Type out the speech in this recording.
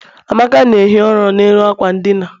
amaka na-ehi ụra n'elu ákwà ndina.